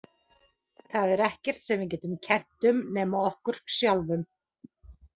Það er ekkert sem við getum kennt um nema okkur sjálfum.